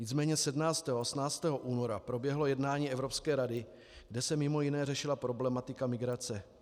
Nicméně 17. a 18. února proběhlo jednání Evropské rady, kde se mimo jiné řešila problematika migrace.